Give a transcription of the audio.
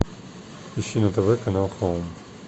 ищи на тв канал хоум